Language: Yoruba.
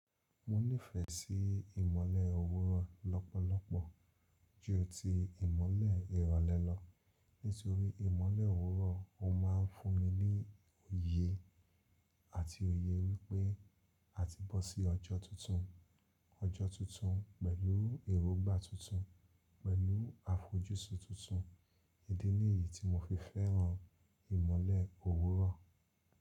Mo nífẹ̀ẹ́ sí ìmọ́lẹ̀ òwúrọ̀ lọ́pọ̀lọpọ̀ ju ti ìmọ́lẹ̀ ìrọ̀lẹ́ lọ nítorí ìmọ́lẹ̀ òwúrọ̀ ó má ń fún mi ní òye àti òye wípé a ti bọ́ sí ọjọ́ tuntun. Ọjọ́ tuntun pẹ̀lú èróngbà tuntun pẹ̀lú àfojúsùn tuntun. Idi nìyí tí mo fi fẹ́ràn ìmọ́lẹ̀ òwúrọ̀.